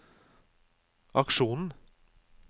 aksjonen